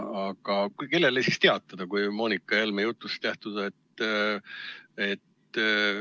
Aga kellele siis teatada, kui Helle-Moonika Helme jutust lähtuda?